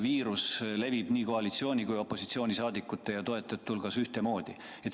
Viirus levib nii koalitsiooni- kui opositsioonisaadikute ja -toetajate hulgas ühtemoodi.